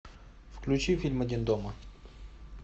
включи фильм один дома